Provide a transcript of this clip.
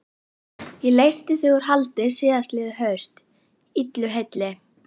Ég leysti þig úr haldi síðastliðið haust, illu heilli.